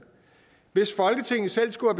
hvis folketinget selv skulle